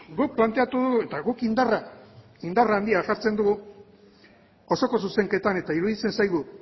guk planteatu dugu eta guk indar handia jartzen dugu osoko zuzenketan eta iruditzen zaigu